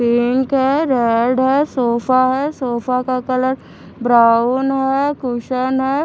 Pink red है sofa है sofa का कलर ब्राउन है कुशन है।